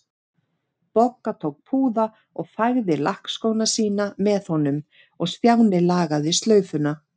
Bogga tók púða og fægði lakkskóna sína með honum og Stjáni lagaði slaufuna.